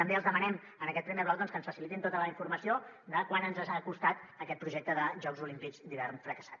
també els demanem en aquest primer bloc que ens facilitin tota la informació de quant ens ha costat aquest projecte de jocs olímpics d’hivern fracassat